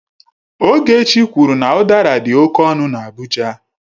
Ogechi kwuru na udara dị oke ọnụ na Abuja.